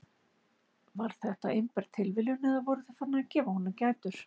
Var þetta einber tilviljun eða voru þau farin að gefa honum gætur?